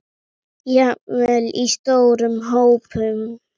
Jafnvel í stórum hópum?